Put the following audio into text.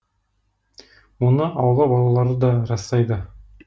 мұны аула балалары да растайды